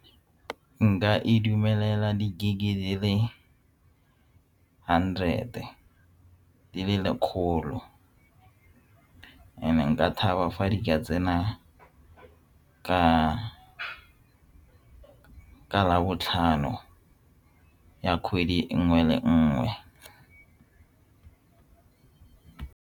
Nka e dumelela di-gig-e di le hundred-e di lekgolo and-e nka thaba fa di ka tsena ka labotlhano ya kgwedi e nngwe le nngwe.